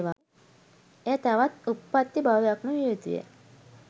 එය තවත් උත්පත්ති භවයක්ම විය යුතුයයි